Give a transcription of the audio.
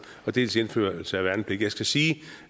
dels indførelse af værnepligt jeg skal sige